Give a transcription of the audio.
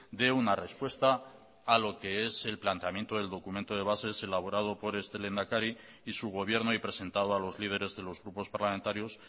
dé una respuesta a lo que es el planteamiento del documento de bases elaborado por este lehendakari y su gobierno y presentado a los lideres de los grupos parlamentarios